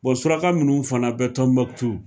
Bɔn suraka minnu fana bɛ Tɔnbukutu.